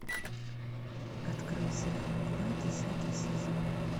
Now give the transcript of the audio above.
открой сериал мгла десятый сезон